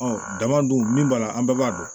dama dun min b'a la an bɛɛ b'a dɔn